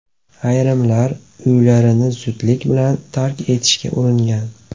Ayrimlar uylarini zudlik bilan tark etishga uringan.